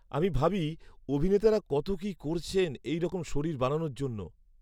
-আমি ভাবি, অভিনেতারা কত কী করেছেন এই রকম শরীর বানানোর জন্য।